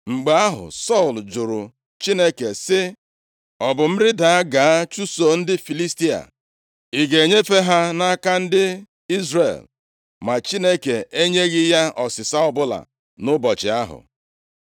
Mgbe ahụ, Sọl jụrụ Chineke sị, “Ọ bụ m rịda gaa chụso ndị Filistia? Ị ga-enyefe ha nʼaka ndị Izrel?” Ma Chineke enyeghị ya ọsịsa ọbụla nʼụbọchị ahụ.